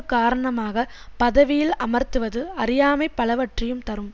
காரணமாக பதவியில் அமர்த்துவது அறியாமை பலவற்றையும் தரும்